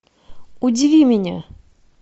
удиви меня